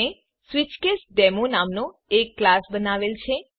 મેં સ્વિચકેસડેમો નામનો એક ક્લાસ બનાવેલ છે